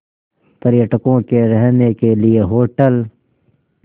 पर्यटकों के रहने के लिए होटल